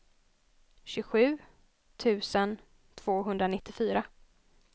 tjugosju tusen tvåhundranittiofyra